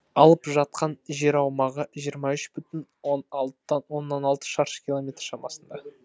алып жатқан жер аумағы жиырма үш бүтін оннан алты шаршы километр шамасында